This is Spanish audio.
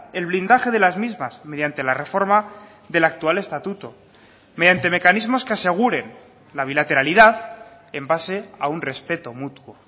el blindaje de las mismas mediante la reforma del actual estatuto mediante mecanismos que aseguren la bilateralidad en base a un respeto mutuo